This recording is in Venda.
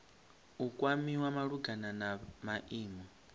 u kwamiwa malugana na maimo